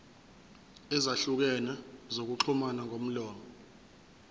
ezahlukene zokuxhumana ngomlomo